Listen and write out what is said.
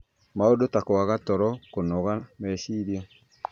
Maũndũ ta kwaga toro, kũnoga meciria,